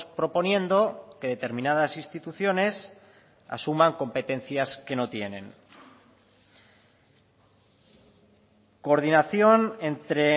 proponiendo que determinadas instituciones asuman competencias que no tienen coordinación entre